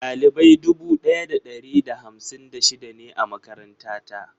Ɗalibai dubu daya da ɗari da hamsin da shida ne a makaranta ta.